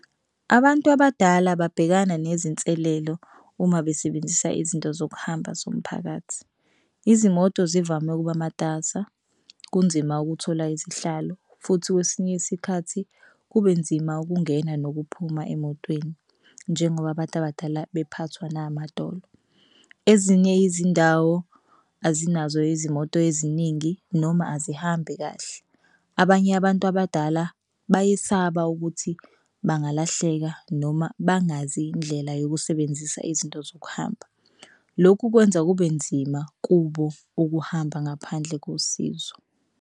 Abantu abadala babhekana nezinselelo uma besebenzisa izinto zokuhamba zomphakathi izimoto zivame ukuba matasa kunzima ukuthola izihlalo, futhi kwesinye isikhathi kube nzima ukungena nokuphuma emotweni, njengoba abantu abadala bephathwa namadolo. Ezinye izindawo azinazo izimoto eziningi noma azihambi kahle. Abanye abantu abadala bayesaba ukuthi bangalahleka noma bangazi indlela yokusebenzisa izinto zokuhamba. Lokhu kwenza kube nzima kubo ukuhamba ngaphandle kosizo.